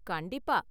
கண்டிப்பா.